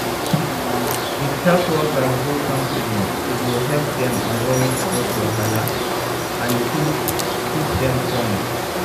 if health workers go counseling e go help dem avoid health wahala and keep keep dem strong.